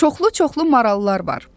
Çoxlu-çoxlu marallar var.